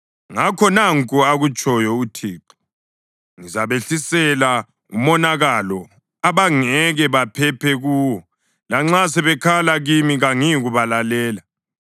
Ngakho nanku akutshoyo uThixo: ‘Ngizabehlisela umonakalo abangeke baphephe kuwo. Lanxa sebekhala kimi kangiyikubalalela.